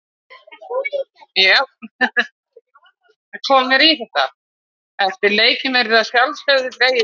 Eftir leikina verður síðan dregið í fjórðu umferðina.